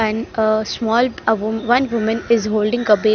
And a small avo one women is holding a be --